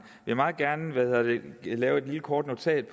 vil meget gerne lave et lave et lille kort notat